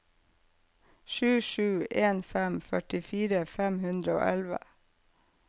sju sju en fem førtifire fem hundre og elleve